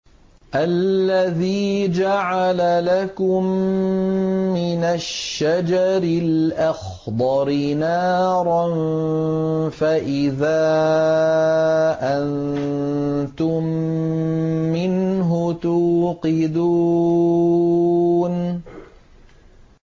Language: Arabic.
الَّذِي جَعَلَ لَكُم مِّنَ الشَّجَرِ الْأَخْضَرِ نَارًا فَإِذَا أَنتُم مِّنْهُ تُوقِدُونَ